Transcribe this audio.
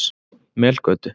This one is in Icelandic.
Melgötu